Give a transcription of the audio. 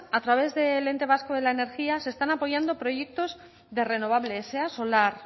a través del ente vasco de la energía se están apoyando proyectos de renovables sea solar